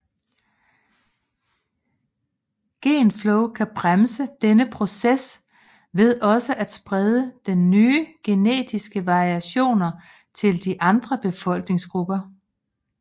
Genflow kan bremse denne proces ved også at sprede de nye genetiske variationer til de andre befolkningsgrupper